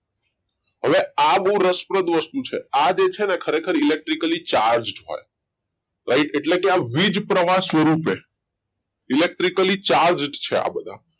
હવે આ બહુ રસપ્રદ વસ્તુ છે આ છે ને એક electrically charged હોય right એટલે કે વીજ પ્રવાહ સ્વરૂપે electrically charged છે આ બધા